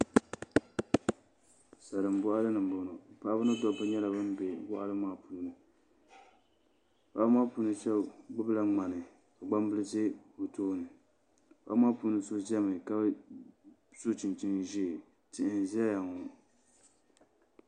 Salin boɣali ni n boŋo paɣaba ni dabba nyɛla bin bɛ boɣali ŋo puuni paɣaba ŋo shab gbubila ŋmana ka gbambili ʒɛ bi tooni paɣaba maa so ʒɛmi ka so chinchin ʒiɛ tihi n ʒɛya ŋo